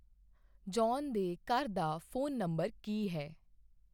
John ਦੇ ਘਰ ਦਾ ਫ਼ੋਨ ਨੰਬਰ ਕੀ ਹੈ?